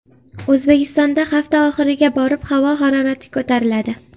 O‘zbekistonda hafta oxiriga borib havo harorati ko‘tariladi.